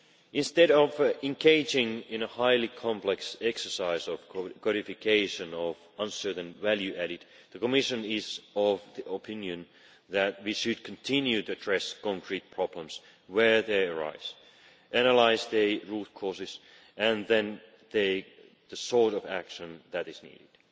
Instead of engaging in a highly complex exercise of codification, with uncertain value added, the Commission is of the opinion that we should continue to address concrete problems where they arise, analyse the root causes and then take the sort of action that is needed.